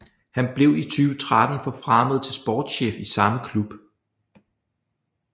Han blev i 2013 forfremmet til sportschef i samme klub